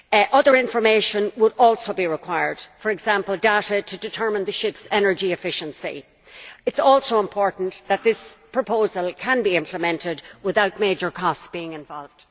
Other information will also be required, for example data to determine the ship's energy efficiency. It is also important that this proposal can be implemented without major costs being involved.